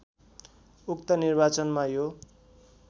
उक्त निर्वाचनमा यो